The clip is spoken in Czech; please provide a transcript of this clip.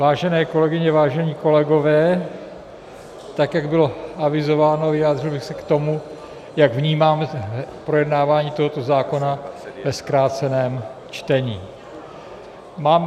Vážené kolegyně, vážení kolegové, tak jak bylo avizováno, vyjádřil bych se k tomu, jak vnímám projednávání tohoto zákona ve zkráceném čtení.